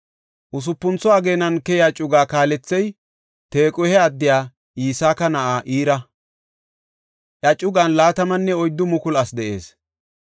Usupuntho ageenan keyiya cugaa kaalethey Tequhe addiya Iska na7aa Ira; iya cugan 24,000 asi de7ees.